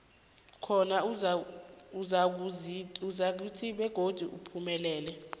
khona uzakuzinza begodi uphumelele